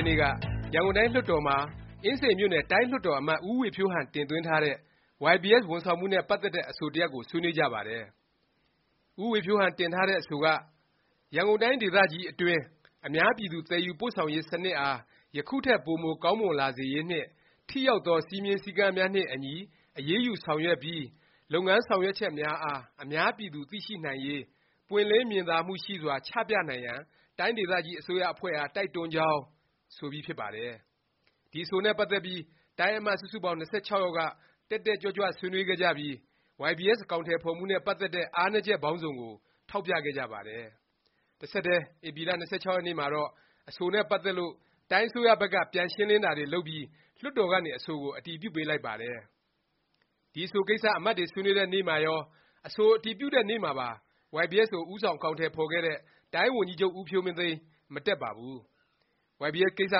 က်နေ့က ရန်ကုန်တိုင်း လွှတ်တော်မှာ အင်းစိန်မြို့နယ် တိုင်းလွှတ်တော်အမတ် ဦးဝေဖြိုးဟန် တင်သွင်းထားတဲ့ YBS ဝန်ဆောင်မှုနဲ့ ပတ်သက်တဲ့ အဆိုတစ်ရပ်ကို ဆွေးနွေးကြပါတယ်။ ဦးဝေဖြိုးဟန် တင်ထားတဲ့ အဆိုက “ ရန်ကုန်တိုင်း ဒေသကြီးအတွင်း အများပြည်သူ သယ်ယူပို့ဆောင်ရေး စနစ်အား ယခုထက် ပိုမိုကောင်းမွန်လာစေရေးနှင့် ထိရောက်သော စည်းမျဉ်း စည်းကမ်းများနှင့်အညီ အရေးယူ ဆောင်ရွက်ပြီး လုပ်ငန်း ဆောင်ရွက်ချက်များအား အများပြည်သူ သိရှိနိုင်ရေး ပွင့်လင်းမြင်သာမှုရှိစွာ ချပြနိုင်ရန် တိုင်းဒေသကြီး အစိုးရအဖွဲ့အား တိုက်တွန်းကြောင်း” ဆိုပြီး ဖြစ်ပါတယ်။ ဒီ အဆိုနဲ့ ပတ်သက်ပြီး တိုင်းအမတ် စုစုပေါင်း ၂၆ ယောက်က တက်တက်ကြွကြွ ဆွေးနွေးခဲ့ကြပြီး YBS အကောင်အထည် ဖော်မှုနဲ့ ပတ်သက်တဲ့ အားနည်းချက် ပေါင်းစုံကို ထောက်ပြခဲ့ကြပါတယ်။ တဆက်တည်း ဧပြီလ ၂၆ ရက်နေ့မှာတော့ အဆိုနဲ့ ပတ်သက်လို့ တိုင်းအစိုးရဘက်က ပြန်ရှင်းလင်းတာတွေ လုပ်ပြီး လွှတ်တော်ကနေ အဆိုကို အတည်ပြုပေးလိုက်ပါတယ်။ ဒီ အဆိုကိစ္စ အမတ်တွေ ဆွေးနွေးတဲ့နေ့မှာရော၊ အဆို အတည်ပြုတဲ့နေ့မှာပါ YBS ကို ဦးဆောင် အကောင်အထည် ဖော်ခဲ့တဲ့ တိုင်းဝန်ကြီးချုပ် ဦးဖြိုးမင်းသိန်း မတက်ပါဘူး။ YBS ကိစ္စ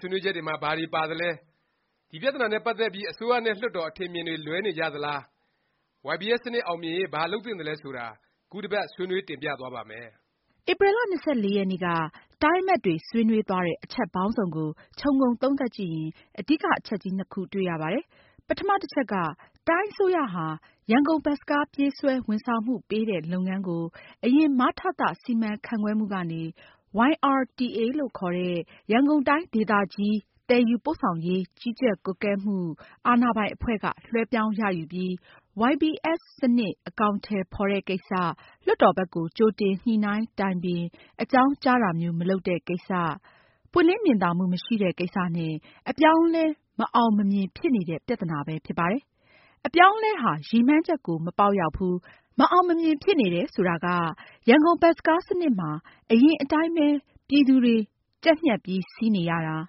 ဆွေးနွေးချက်တွေမှာ ဘာတွေ ပါသလဲ၊ ဒီ ပြသနာနဲ့ ပတ်သက်ပြီး အစိုးရနဲ့ လွှတ်တော် အထင်အမြင်တွေ လွဲနေကြသလား၊ YBS စနစ် အောင်မြင်ရေး ဘာလုပ်သင့်သလဲ ဆိုတာ ခုတစ်ပတ် ဆွေးနွေး တင်ပြသွားပါ့မယ်။ ဧပြီ ၂၄ ရက်နေ့က တိုင်းအမတ်တွေ ဆွေးနွေးသွားတဲ့ အချက်ပေါင်းစုံကို ခြုံငုံသုံးသပ်ကြည့်ရင် အဓိက အချက်ကြီး နှစ်ခု တွေ့ရပါတယ်။ ပထမ တစ်ချက်က တိုင်းအစိုးရဟာ ရန်ကုန် ဘတ်စ်ကားပြေးဆွဲ ဝန်ဆောင်မှုပေးတဲ့ လုပ်ငန်းကို အရင် မထသ စီမံခန့်ခွဲမှုကနေ YRTA လို့ခေါ်တဲ့ ရန်ကုန်တိုင်း ဒေသကြီး သယ်ယူပို့ဆောင်ရေး ကြီးကြပ်ကွပ်ကဲမှုအာဏာပိုင်အဖွဲ့ က လွဲှပြောင်းရယူပြီး YBS စနစ် အကောင်အထည် ဖော်တဲ့ကိစ္စ လွှတ်တော်ဘက်ကို ကြိုတင် ညှိနှိုင်းတိုင်ပင် အကြောင်းကြားတာမျိုး မလုပ်တဲ့ကိစ္စ၊ ပွင့်လင်းမြင်သာမှု မရှိတဲ့ ကိစ္စနဲ့ အပြောင်းအလဲ မအောင်မမြင် ဖြစ်နေတဲ့ ပြသနာပဲ ဖြစ်ပါတယ်။ အပြောင်းအလဲဟာ ရည်မှန်းချက်ကို မပေါက်ရောက်ဘူး၊ မအောင်မမြင် ဖြစ်နေတယ် ဆိုတာက ရန်ကုန်ဘတ်စ်ကားစနစ်မှာ အရင်အတိုင်းပဲ ပြည်သူတွေ ကြပ်ညှပ်ပြီး စီးနေရတာ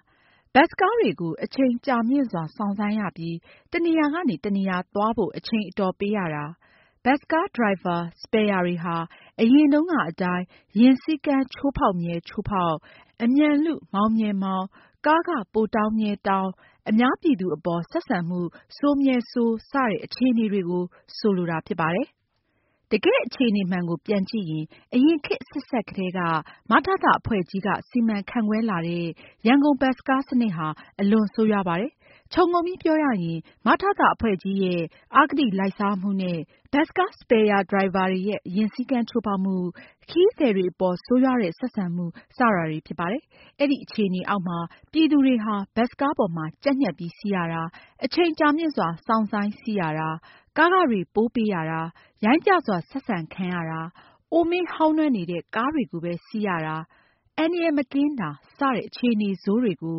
၊ ဘတ်စ်ကားတွေကို အချိန်ကြာမြင့်စွာ စောင့်ဆိုင်းရပြီး တစ်နေရာကနေ တစ်နေရာသွားဖို့ အချိန် အတော်ပေးရတာ၊ ဘတ်စ်ကား ဒရိုင်ဘာ စပယ်ယာတွေဟာ အရင်တုန်းကအတိုင်း ယာဉ်စီးကမ်း ချိုးဖေါက်မြဲ ချိုးဖေါက်၊ အမြန်လု မောင်းမြဲမောင်း၊ ကားခ ပိုတောင်းမြဲတောင်း၊ အများပြည်သူအပေါ် ဆက်ဆံမှု ဆိုးမြဲဆိုး စတဲ့ အခြေအနေတွေကို ဆိုလိုတာ ဖြစ်ပါတယ်။ တကယ့် အခြေအနေမှန်ကို ပြန်ကြည့်ရင် အရင် ခေတ်အဆက်ဆက်ကတည်းက မထသ အဖွဲ့ကြီးက စီမံခန့်ခွဲလာတဲ့ ရန်ကုန်ဘတ်စ်ကား စနစ်ဟာ အလွန်ဆိုးရွားပါတယ်။ ခြုံငုံပြီး ပြောရရင် မထသ အဖွဲ့ကြီးရဲ့ အဂတိလိုက်စားမှု နဲ့ ဘတ်စ်ကား စပယ်ယာ၊ ဒရိုင်ဘာတွေရဲ့ ယာဉ်စည်းကမ်း ချိုးဖေါက်မှု၊ ခရီးသည်တွေအပေါ် ဆိုးရွားတဲ့ ဆက်ဆံမှုစတာတွေ ဖြစ်ပါတယ်။ အဲဒီ အခြေအနေအောက်မှာ ပြည်သူတွေဟာ ဘတ်စ်ကားပေါ်မှာ ကြပ်ညှပ်ပြီး စီးရတာ၊ အချိန်ကြာမြင့်စွာ စောင့်ဆိုင်း စီးရတာ၊ ကားခတွေ ပိုပေးရတာ၊ ရိုင်းပျစွာ ဆက်ဆံခံရတာ၊ အိုမင်းဟောင်းနွမ်းနေတဲ့ ကားတွေကိုပဲ စီးရတာ၊ အန္တရာယ် မကင်းတာ စတဲ့ အခြေအနေဆိုးတွေကို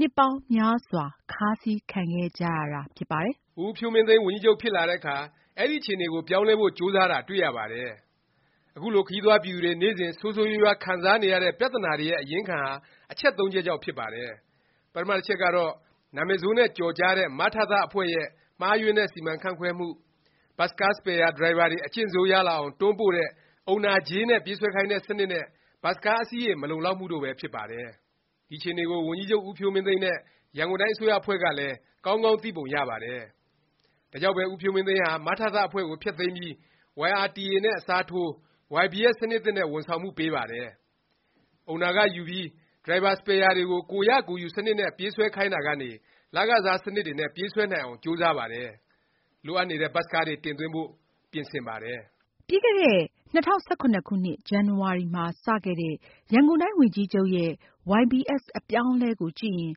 နှစ်ပေါင်းများစွာ ခါးစီးခံခဲ့ကြရတာ ဖြစ်ပါတယ်။ ဦးဖြိုးမင်းသိန်း ဝန်ကြီးချုပ်ဖြစ်လာတဲ့အခါ အဲဒီ အခြေအနေကို ပြောင်းလဲဖို့ ကြိုးစားတာ တွေ့ရပါတယ်။ အခုလို ခရီးသွားပြည်သူတွေ နေ့စဉ် ဆိုးဆိုးရွားရွား ခံစားနေရတဲ့ ပြသနာတွေရဲ့ အရင်းခံဟာ အချက်သုံးချက်ကြောင့် ဖြစ်ပါတယ်။ ပထမ တစ်ချက်ကတော့ နာမည်ဆိုးနဲ့ ကျော်ကြားတဲ့ မထသ အဖွဲ့ရဲ့ မှားယွင်းတဲ့ စီမံခန့်ခွဲမှု၊ ဘတ်စ်ကား စပယ်ယာ ဒရိုင်ဘာတွေ အကျင့်ဆိုးရလာအောင် တွန်းပို့တဲ့ အုံနာကြေးနဲ့ ပြေးဆွဲခိုင်းတဲ့ စနစ် နဲ့ ဘတ်စ်ကား အစီးရေ မလုံလောက်မှုတို့ပဲ ဖြစ်ပါတယ်။ ဒီအခြေအနေကို ဝန်ကြီးချုပ် ဦးဖြိုးမင်းသိန်းနဲ့ ရန်ကုန်တိုင်း အစိုးရအဖွဲ့ကလည်း ကောင်းကောင်း သိပုံရပါတယ်။ ဒါကြောင့်ပဲ ဦးဖြိုးမင်းသိန်းဟာ မထသ အဖွဲ့ကို ဖျက်သိမ်းပြီး၊ YRTA နဲ့ အစားထိုး YBS စနစ်သစ်နဲ့ ဝန်ဆောင်မှုပေးပါတယ်။ အုံနာခ ယူပြီး ဒရိုင်ဘာ စပယ်ယာတွေကို ကိုယ်ရကိုယ်ယူ စနစ်နဲ့ ပြေးဆွဲခိုင်းတာကနေ လခစား စနစ်တွေနဲ့ ပြေးဆွဲနိုင်အောင် ကြိုးစားပါတယ်။ လိုအပ်နေတဲ့ ဘတ်စ်ကားတွေ တင်သွင်းဖို့ ပြင်ဆင်ပါတယ်။ ပြီးခဲ့တဲ့ ၂၀၁၇ ဇန်နဝါရီမှာ စခဲ့တဲ့ ရန်ကုန်တိုင်းဝန်နကြီးချုပ်ရဲ့ YBS အပြောင်းအလဲကို ကြည့်ရင်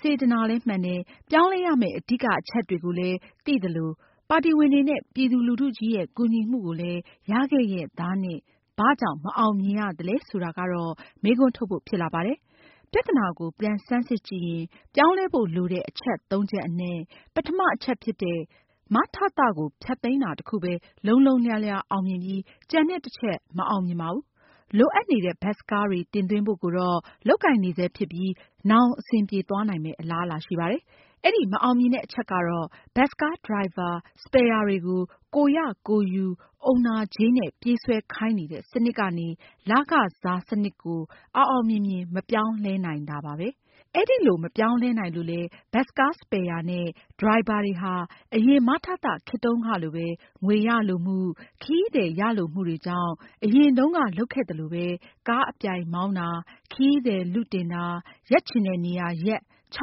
စေတနာလည်းမှန်တယ်၊ ပြောင်းလဲရမယ့် အဓိက အချက်တွေကိုလည်း သိသလို ပါတီဝင်တွေနဲ့ ပြည်သူလူထုကြီးရဲ့ ကူညီမှုကိုလည်း ရခဲ့ရဲ့သားနဲ့ ဘာကြောင့် မအောင်မြင်ရသလဲ ဆိုတာကတော့ မေးခွန်းထုတ်ဖို့ ဖြစ်လာပါတယ်။ ပြသနာကို ပြန်ဆန်းစစ်ကြည့်ရင် ပြောင်းလဲဖို့ လိုတဲ့ အချက်သုံးချက်အနက် ပထမအချက်ဖြစ်တဲ့ မထသ ကိုဖျက်သိမ်းတာ တစ်ခုပဲ လုံးလုံးလျားလျား အောင်မြင်ပြီး ကျန်တဲ့ တစ်ချက် မအောင်မြင်ပါဘူး။ လိုအပ်နေတဲ့ ဘတ်စ်ကားတွေ တင်သွင်းဖို့ကိုတော့ လုပ်ကိုင်နေဆဲ ဖြစ်ပြီး နောင် အဆင်ပြေသွားနိုင်မယ့် အလားအလာ ရှိပါတယ်။ အဲဒီ မအောင်မြင်တဲ့ အချက်ကတော့ ဘတ်စ်ကား ဒရိုင်ဘာ စပယ်ယာတွေကို ကိုယ်ရ ကိုယ်ယူ အုံနာကြေးနဲ့ ပြေးဆွဲခိုင်းနေတဲ့ စနစ်ကနေ လခစား စနစ်ကို အောင်အောင်မြင်မြင် မပြောင်းလဲနိုင်တာပါ။ အဲလို မပြောင်းလဲနိုင်လို့လဲ ဘတ်စ်ကား စပယ်ယာနဲ့ ဒရိုင်ဘာတွေဟာ အရင် မထသ ခေတ်တုန်းကလိုပဲ ငွေရလိုမှု၊ ခရီးသည် ရလိုမှုတွေကြောင့် အရင်တုန်းက လုပ်ခဲ့သလိုပဲ ကားအပြိုင်မောင်းတာ၊ ခရီးသည် လုတင်တာ၊ ရပ်ချင်တဲ့နေရာရပ် ချ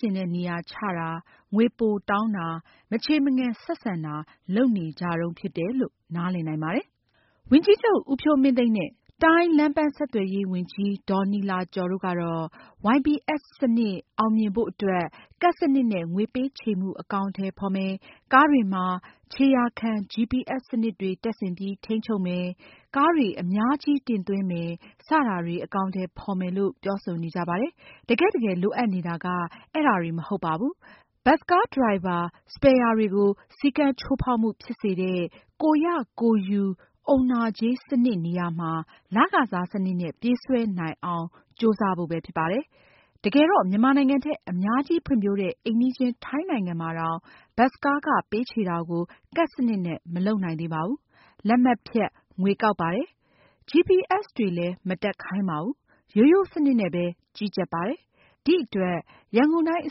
ချင်တဲ့ နေရာချတာ၊ ငွေပိုတောင်းတာ၊ မချေမငံ ဆက်ဆံတာ လုပ်နေကြတုန်း ဖြစ်တယ်လို့ နားလည်နိုင်ပါတယ်။ ဝန်ကြီးချုပ် ဦးဖြိုးမင်းသိန်းနဲ့ တိုင်းလမ်းပန်းဆက်သွယ်ရေး ဝန်ကြီး ဒေါ်နီလာကျော်တို့ကတော့ YBS စနစ် အောင်မြင်ဖို့ အတွက် ကဒ်စနစ်နဲ့ ငွေပေးချေမှု အကောင်အထည် ဖော်မယ်၊ ကားတွေမှာ ခြေရာခံ GPS စနစ်တွေ တပ်ဆင်ပြီး ထိန်းချုပ်မယ်၊ ကားတွေ အများကြီး တင်သွင်းမယ် စတာတွေ အကောင်အထည် ဖော်မယ်လို့ ပြောဆိုနေကြပါတယ်။ တကယ့်တကယ် လိုအပ်နေတာက အဲဒါတွေ မဟုတ်ပါဘူး။ ဘတ်စ်ကား ဒရိုင်ဘာ၊ စပယ်ယာတွေကို စည်းကမ်းချိုးဖေါက်မှု ဖြစ်စေတဲ့ ကိုယ်ရကိုယ်ယူ အုံနာကြေး စနစ် နေရာမှာ လခစား စနစ်နဲ့ ပြေးဆွဲနိုင်အောင် ကြိုးစားဖို့ပဲ ဖြစ်ပါတယ်။ တကယ်တော့ မြန်မာနိုင်ငံထက် အများကြီးဖွံ့ဖြိုးတဲ့ အိမ်နီးချင်း ထိုင်းနိုင်ငံမှာတောင် ဘတ်စ်ကားခ ပေးချေတာကို ကဒ်စနစ်နဲ့ မလုပ်နိုင်သေးပါဘူး။ လက်မှတ်ဖြတ် ငွေကောက်ပါတယ်။ ဂျီပီအက်စ်တွေလည်း မတပ်ခိုင်းပါဘူး။ ရိုးရိုးစနစ်နဲ့ပဲ ကြီးကြပ်ပါတယ်။ ဒီအတွက် ရန်ကုန်တိုင်း အ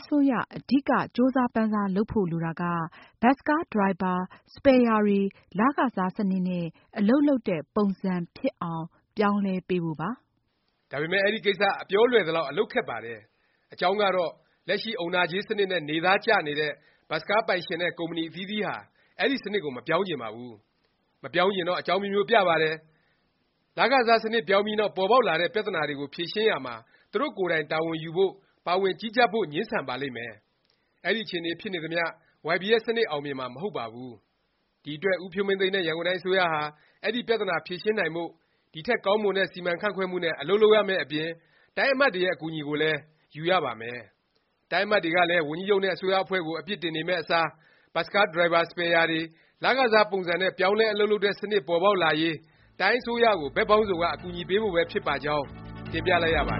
စိုးရ အဓိက ကြိုးစားပမ်းစား လုပ်ဖို့ လိုတာက ဘတ်စ်ကား ဒရိုင်ဘာ၊ စပယ်ယာတွေ လခစား စနစ်နဲ့ အလုပ်လုပ်တဲ့ ပုံစံဖြစ်အောင် ပြောင်းလဲပေးဖို့ပါ။ ဒါပေမယ့် အဲဒီ ကိစ္စ အပြောလွယ်သလောက် အလုပ်ခက်ပါတယ်။ အကြောင်းကတော့ လက်ရှိ အုံနာကြေးစနစ်နဲ့ နေသားကျနေတဲ့ ဘတ်စ်ကားပိုင်ရှင် နဲ့ ကုမ္ပဏီ အသီးသီးဟာ အဲဒီ စနစ်ကို မပြောင်းချင်ပါဘူး။ မပြောင်းချင်တော့ အကြောင်းအမျိုးမျိုး ပြပါတယ်။ လခစား စနစ်ပြောင်းပြီးနောက် ပေါ်ပေါက်လာတဲ့ ပြသနာတွေကို ဖြေရှင်းရာမှာ သူတို့ကိုယ်တိုင် တာဝန်ယူ ဖို့၊ ပါဝင်ကြီးကြပ်ဖို့ ငြင်းဆန်ပါမယ်။ အဲဒီ အခြေအနေ ဖြစ်နေသမျှ YBS စနစ် အောင်မြင်မှာ မဟုတ်ပါဘူး။ ဒီအတွက် ဦးဖြိုးမင်းသိန်းနဲ့ ရန်ကုန်တိုင်း အစိုးရဟာ အဲဒီ ပြသနာ ဖြေရှင်းနိုင်ဖို့၊ ဒီထက် ကောင်းမွန်တဲ့ စီမံခန့်ခွဲမှုနဲ့ အလုပ်လုပ်ရမယ့် အပြင် တိုင်းအမတ်တွေရဲ့ အကူအညီကိုလည်း ယူရပါမယ်။ တိုင်းအမတ်တွေကလည်း ဝန်ကြီးချုပ်နဲ့ အစိုးရအဖွဲ့ကို အပစ်တင်နေမယ့်အစား ဘတ်စ်ကား ဒရိုင်ဘာ၊ စပယ်ယာတွေ လခစား ပုံစံနဲ့ ပြောင်းလဲ အလုပ်လုပ်တဲ့ စနစ် ပေါ်ပေါက်လာရေး တိုင်းအစိုးရကို ဘက်ပေါင်းစုံက အကူအညီပေးဖို့ပဲ ဖြစ်ပါကြောင်း တင်ပြလိုက်ရပါတ